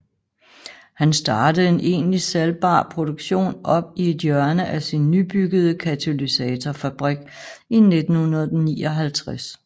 Han startede en egentlig salgbar produktion op i et hjørne af sin nybyggede katalysatorfabrik i 1959